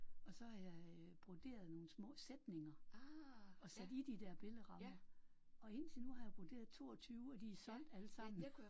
Og så har jeg broderet nogle små sætninger og sat i de der billedrammer og indtil nu har jeg broderet 22 og de er solgt alle sammen